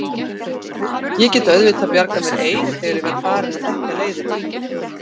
Ég get auðvitað bjargað mér ein þegar ég verð farin að þekkja leiðina.